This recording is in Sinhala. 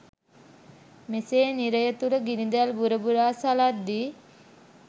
මෙසේ නිරය තුළ ගිනිදැල් බුර බුරා සළද්දී